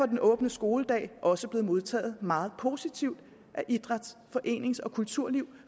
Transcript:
den åbne skoledag også blevet modtaget meget positivt af idræts forenings og kulturliv